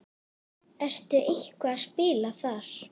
Ertu eitthvað að spila þar?